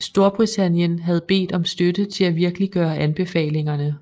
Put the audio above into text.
Storbritannien havde bedt om støtte til at virkeliggøre anbefalingerne